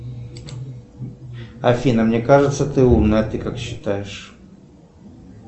афина мне кажется ты умная а ты как считаешь